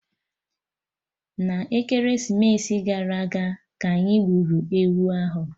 N'ekeresimesi gara aga, ka anyị gburu ewu ahụ